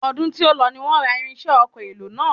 Ọdún tí ó lọ ni wọ́n ra irinṣẹ́ ọkọ̀ èlò náà.